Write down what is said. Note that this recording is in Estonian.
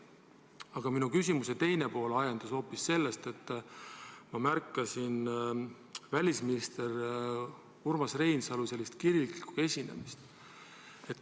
Aga minu küsimuse teine pool on ajendatud hoopis sellest, et ma märkasin välisminister Urmas Reinsalu sellist kirglikku esinemist.